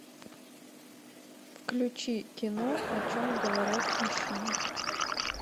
включи кино о чем говорят мужчины